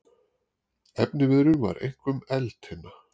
Efniviðurinn var einkum eldtinna.